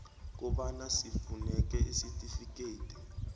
kobana sifuneke isitifikedi